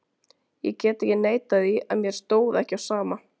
Ég get ekki neitað því að mér stóð ekki á sama.